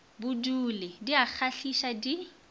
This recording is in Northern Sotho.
bodule di a kgahliša di